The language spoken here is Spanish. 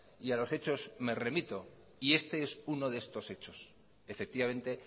y a los hechos me remito y este es uno de estos hechos efectivamente